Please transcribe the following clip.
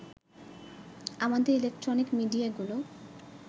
আমাদের ইলেকট্রনিক মিডিয়াগুলো